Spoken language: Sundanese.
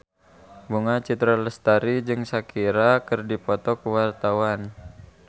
Bunga Citra Lestari jeung Shakira keur dipoto ku wartawan